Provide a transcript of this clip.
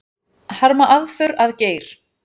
Harma aðför að Geir